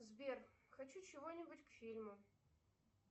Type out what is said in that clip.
сбер хочу чего нибудь к фильму